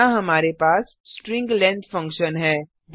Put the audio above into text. यहाँ हमारे पास स्ट्रिंग लाइब्रेरी फंक्शन है